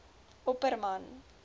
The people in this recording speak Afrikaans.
opperman